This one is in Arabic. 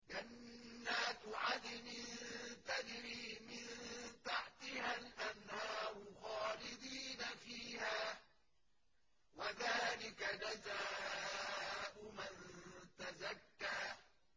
جَنَّاتُ عَدْنٍ تَجْرِي مِن تَحْتِهَا الْأَنْهَارُ خَالِدِينَ فِيهَا ۚ وَذَٰلِكَ جَزَاءُ مَن تَزَكَّىٰ